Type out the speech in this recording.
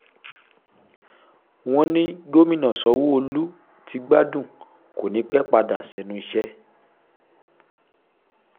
wọ́n ní gómìnà sanwó-olu ti gbádùn kó ní i pẹ́ẹ́ padà sẹ́nu iṣẹ́